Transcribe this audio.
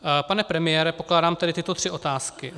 Pane premiére, pokládám tedy tyto tři otázky: